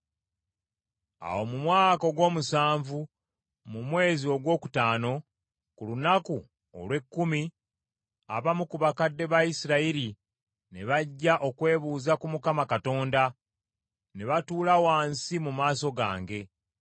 Awo mu mwaka ogw’omusanvu, mu mwezi ogwokutaano ku lunaku olw’ekkumi, abamu ku bakadde ba Isirayiri ne bajja okwebuuza ku Mukama Katonda, ne batuula wansi mu maaso gange.